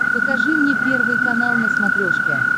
покажи мне первый канал на смотрешке